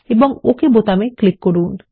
এবং okay button click করুন